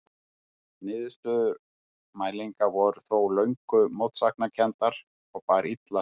Niðurstöður mælinga voru þó löngum mótsagnakenndar og bar illa saman.